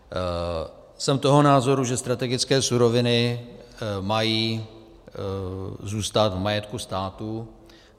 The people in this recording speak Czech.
Jsem toho názoru, že strategické suroviny mají zůstat v majetku státu.